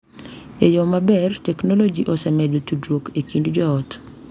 E yo maber, teknoloji osemedo tudruok e kind joot,